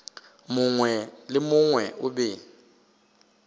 mongwe le mongwe o be